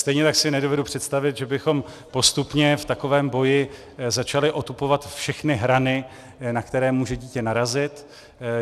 Stejně tak si nedovedu představit, že bychom postupně v takovém boji začali otupovat všechny hrany, na které může dítě narazit.